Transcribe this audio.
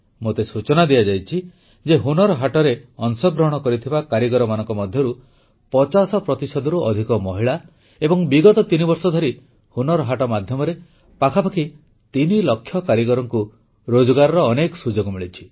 ମୋତେ ସୂଚନା ଦିଆଯାଇଛି ଯେ ହୁନର୍ ହାଟରେ ଅଂଶଗ୍ରହଣ କରିଥିବା କାରିଗରମାନଙ୍କ ମଧ୍ୟରୁ ପଚାଶ ପ୍ରତିଶତରୁ ଅଧିକ ମହିଳା ଏବଂ ବିଗତ ତିନିବର୍ଷ ଧରି ହୁନର୍ ହାଟ ମାଧ୍ୟମରେ ପାଖାପାଖି ତିନିଲକ୍ଷ କାରିଗରଙ୍କୁ ରୋଜଗାରର ଅନେକ ସୁଯୋଗ ମିଳିଛି